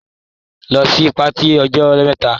Lọ sí patí lọ́jọ́ Àbámẹ́ta.